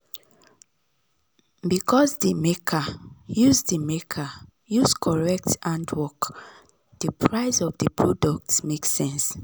because the maker use the maker use correct handwork the price of the fine product make sense.